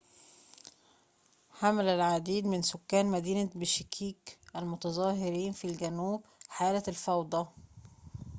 حمّل العديد من سكان مدينة بشكيك المتظاهرين في الجنوب حالة الفوضى